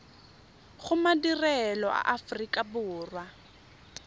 go madirelo a aforika borwa